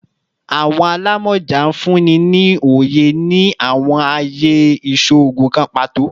Awọn alamọja nfunni ni oye ni awọn aaye iṣoogun kan pato